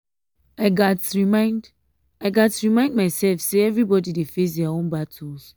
i gats remind i gats remind myself say everybody dey face their own battles.